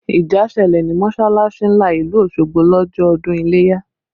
Ìjà ṣẹlẹ̀ ní mọsalasi ńlá ìlú Osogbo lọ́jọ́ ọdún ileya